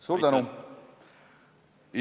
Suur tänu!